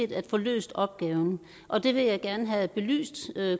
at få løst opgaven og det vil jeg gerne have belyst